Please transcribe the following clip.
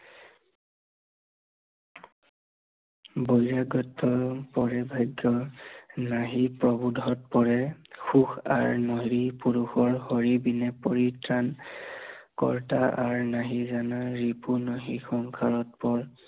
বুজে গত পৰি ভাগ্য় নাহি প্ৰভুত পৰে, সুখ আৰু নাৰী পুৰুষৰ হৰি বিনে পৰিত্ৰাণ, কৰ্তা আৰু নেহি জানা ৰিপু নেহি সংসাৰত